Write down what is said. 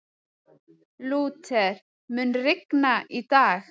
Lúther, mun rigna í dag?